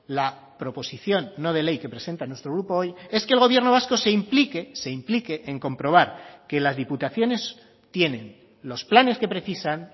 la proposición no de ley que presenta nuestro grupo hoy es que el gobierno vasco se implique se implique en comprobar que las diputaciones tienen los planes que precisan